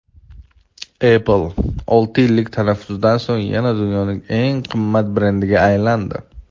Apple olti yillik tanaffusdan so‘ng yana dunyoning eng qimmat brendiga aylandi.